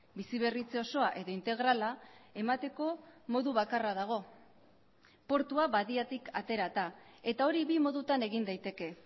biziberritze osoa edo integrala emateko modu bakarra dago portua badiatik aterata eta hori bi modutan egin daiteke